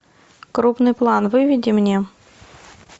крупный план выведи мне